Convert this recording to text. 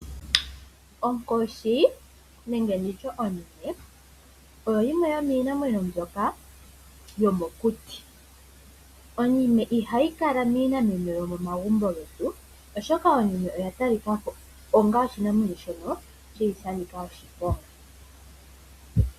Onkoshi nenge nditye onime oyo yimwe yomiinamwenyo mbyoka yomokuti. Onkoshi ihayi kala niinamwenyo yomegumbo, oshoka onime oya talika ko onga oshinamwenyo shono shi li sha nika oshiponga.